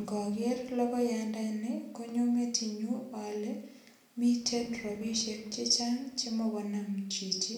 Ngoger logoyandani, konyo metinyu ale miten rapisiek chechang chemagonam chichi.